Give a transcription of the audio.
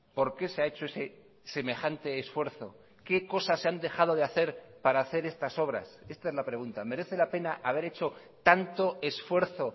por qué se ha hecho ese semejante esfuerzo qué cosas se han dejado de hacer para hacer estas obras esta es la pregunta merece la pena haber hecho tanto esfuerzo